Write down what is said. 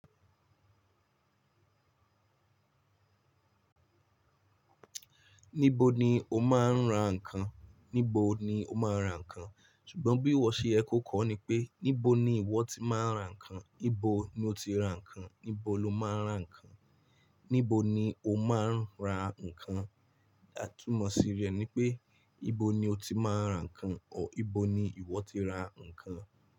Níbo ni o máa ń ra ǹkan? Níbo ni o máa ra ǹkan? Ṣùgbọ́n bí ìwọ ṣe ẹ kó kọ ní pé níbo ni ìwọ ti máa ń ra ǹkan, níbo ni o ti ra ǹkan, níbo lo máa ń ra ǹkan. Níbo ni o máa ń ra ǹkan? Atúmọ̀ sí rẹ̀ ní pé níbo ni o ti máa ń ra ǹkan o ìbo ni ìwọ ti ra ǹkan.